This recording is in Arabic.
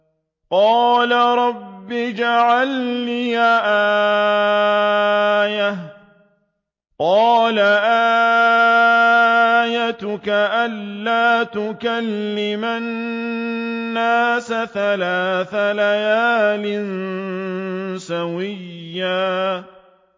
قَالَ رَبِّ اجْعَل لِّي آيَةً ۚ قَالَ آيَتُكَ أَلَّا تُكَلِّمَ النَّاسَ ثَلَاثَ لَيَالٍ سَوِيًّا